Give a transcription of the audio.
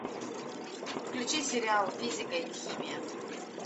включи сериал физика и химия